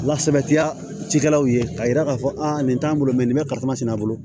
Lasabatiya cikɛlaw ye k'a yira k'a fɔ a nin t'an bolo nin bɛ kalifa sɛnɛ a bolo